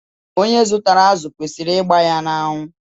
Onye zụtara azụ kwesịrị ịgba ya n'anwụ.